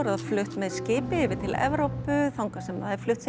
það flutt með skipi yfir til Evrópu þangað sem það er flutt